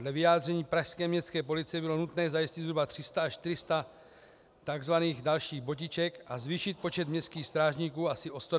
Dle vyjádření pražské městské policie bylo nutné zajistit zhruba 300 až 400 tzv. dalších botiček a zvýšit počet městských strážníků asi o 120 osob.